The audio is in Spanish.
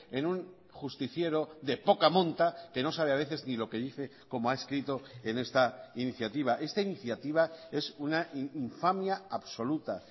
en un justiciero de poca monta que no sabe a veces ni lo que dice como ha escrito en esta iniciativa esta iniciativa es una infamia absoluta